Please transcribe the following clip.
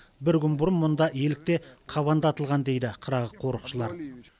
бір күн бұрын мұнда елік те қабан да атылған дейді қырағы қорықшылар